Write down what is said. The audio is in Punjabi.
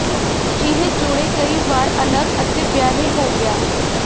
ਅਜਿਹੇ ਜੋੜੇ ਕਈ ਵਾਰ ਅਲੱਗ ਅਤੇ ਵਿਆਹੇ ਹੋ ਗਿਆ